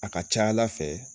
A ka ca ala fɛ